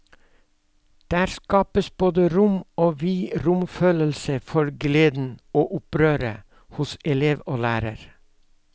Der skapes både rom og vid romkjensle for gleda og opprøret, hos elev og lærar.